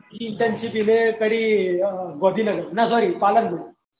ત્રીજી internship એ કરી આ ગાંધીનગર ના sorry પાલનપુર